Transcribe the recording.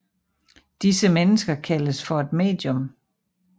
Disse mennesker kaldes for et medium